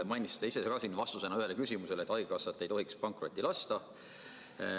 Mainisite ise ka siin vastusena ühele küsimusele, et haigekassat ei tohiks pankrotti lasta.